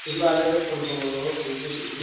ಸುಮ್ಮ್ ಅಲ್ಲೇದಕ ಹೋಗಿ ತಗೊಳುದು.